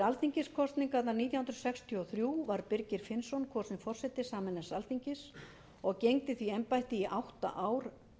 alþingiskosningarnar nítján hundruð sextíu og þrjú var birgir finnsson kosinn forseti sameinaðs alþingis og gegndi því embætti í átta ár